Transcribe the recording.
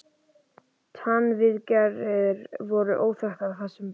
TannVIÐGERÐIR voru óþekktar í þessum bæ.